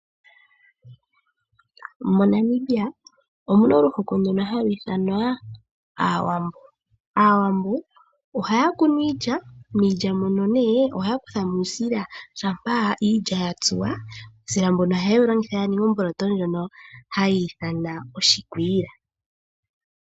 Monamibia omuna omuhoko ngono hagu ithanwa Aawambo, Aawamvo ohaya kunu iilya miilya muno nee ohaya kutha mo uusila shampa ya tsuwa, uusila mbuno ohaye wu longitha ya ninge omboloto ndjono hayi ithanwa oshikwiila.